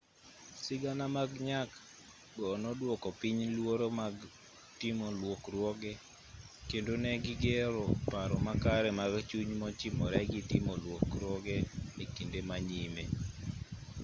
sigana mag nyak go noduoko piny luoro mag timo lokruoge kendo ne gigero paro makare mag chuny mochimore gi timo lokruoge e kinde ma nyime